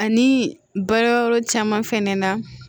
Ani baarayɔrɔ caman fɛnɛ na